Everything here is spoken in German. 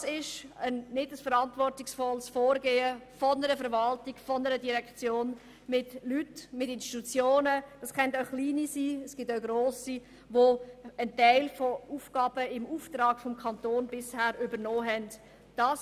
» Das ist kein verantwortungsvolles Vorgehen der Verwaltung gegenüber kleinen oder grossen Institutionen, die bisher Aufgaben im Auftrag des Kantons übernommen haben.